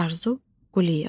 Arzu Quliyeva.